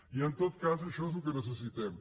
i en tot cas això és el que necessitem